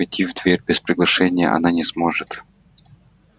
войти в дверь без приглашения она не сможет